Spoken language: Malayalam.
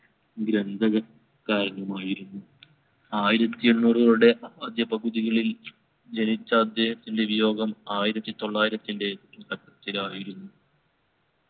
ഗ്രന്ഥകൻ കാരനുമായിരുന്നു. ആയിരത്തി എണ്ണൂറുകളുടെ ആദ്യ പകുതികളിൽ ജനിച്ച അദ്ദേഹത്തിൻറെ വിയോഗം ആയിരത്തി തൊള്ളായിരത്തിൻ്റെ തുടക്കത്തിലായിരുന്നു